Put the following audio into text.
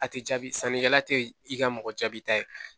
A tɛ jaabi sannikɛla te i ka mɔgɔ jaabi ta ye